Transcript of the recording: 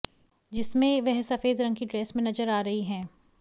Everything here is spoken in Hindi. जिसमें वह सफेद रंग की ड्रेस में नजर आ रही हैं